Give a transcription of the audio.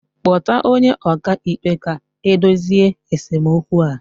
Kpọta onye ọkàikpe ga-edozi esemokwu a